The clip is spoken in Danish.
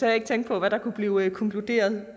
jeg ikke tænke på hvad der kunne blive konkluderet